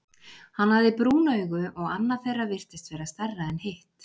Hann hafði brún augu, og annað þeirra virtist vera stærra en hitt.